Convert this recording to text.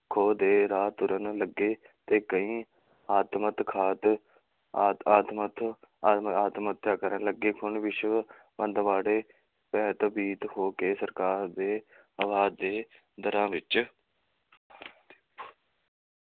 ਖੋਹ ਦੇ ਰਾਹ ਤੁਰਨ ਲੱਗੇ ਤੇ ਕਈ ਆ~ ਆਤਮ ਹੱਤਿਆ ਕਰਨ ਲੱਗੇ, ਹੁਣ ਵਿਸ਼ਵ ਮੰਦਵਾੜੇ ਭੇਭੀਤ ਹੋ ਕੇ ਸਰਕਾਰ ਦੇ ਦੇ ਦਰਾਂ ਵਿੱਚ,